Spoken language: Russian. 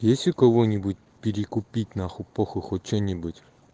есть у кого-нибудь перекупить на хуй похуй хоть что-нибудь